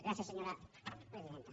gràcies senyora presidenta